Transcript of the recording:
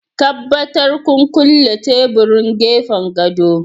Tabbatar kun kulle teburin gefen gado